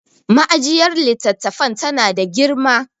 ma'ajiyar litattafan tana da girma